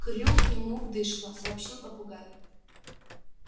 крюк ему в дышло сообщил попугай